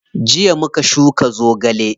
Jiya muka shuka zogale.